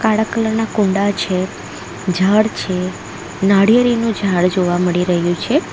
કાળા કલર ના કુંડા છે ઝાડ છે નાળિયેરીનું ઝાડ જોવા મળી રહ્યું છે.